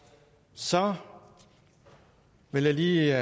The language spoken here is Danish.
så vil jeg lige